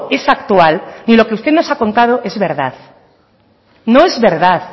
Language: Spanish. es actual ni lo que usted nos ha contado es verdad no es verdad